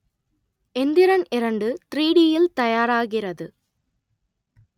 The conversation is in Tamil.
எந்திரன் இரண்டு த்ரீ டியில் தயாராகிறது